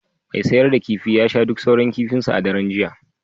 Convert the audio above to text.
mai sayar da kifi ya sha duk sauran kifinsa a daren jiya